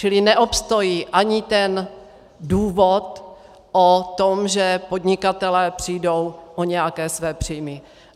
Čili neobstojí ani ten důvod o tom, že podnikatelé přijdou o nějaké své příjmy.